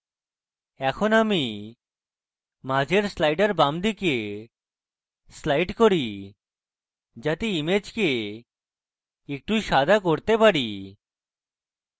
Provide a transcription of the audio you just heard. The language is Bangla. এখন আমি মাঝের slider বামদিকে slide করি যাতে image একটু সাদা করতে পারি